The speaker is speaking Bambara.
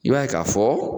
I b'a ye k'a fɔ